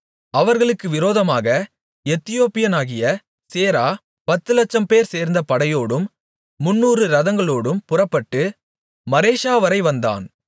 அவர்களுக்கு விரோதமாக எத்தியோப்பியனாகிய சேரா பத்துலட்சம்பேர் சேர்ந்த படையோடும் முந்நூறு இரதங்களோடும் புறப்பட்டு மரேஷாவரை வந்தான்